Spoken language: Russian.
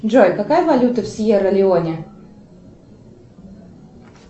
джой какая валюта в сьерра леоне